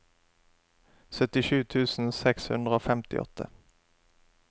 syttisju tusen seks hundre og femtiåtte